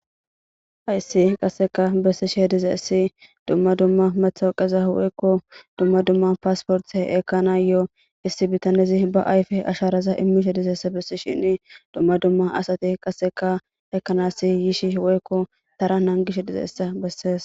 hayssi qasseka bessishe dizayssi dumma dumma matawoqaza woykko dumma dumma paasporte ekana yo7o issi bitanezi ba ayfe asharaza immishe dizeessa bessi shinni dumma dumma asate qasseka ekanassi yishi woykko tara nangishe dizaysa bessees